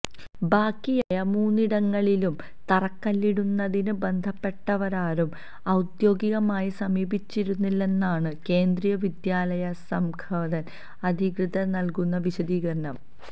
ബാക്കിയായ മൂന്നിടങ്ങളിലും തറക്കല്ലിടുന്നതിന് ബന്ധപ്പെട്ടവരാരും ഔദ്യോഗികമായി സമീപിച്ചിരുന്നില്ലെന്നാണ് കേന്ദ്രീയവിദ്യാലയസംഘാതൻ അധികൃതർ നൽകുന്ന വിശദീകരണം